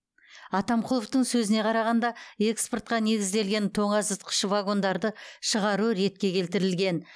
атамқұловтың сөзіне қарағанда экспортқа негізделген тоңазытқыш вагондарды шығару ретке келтірілген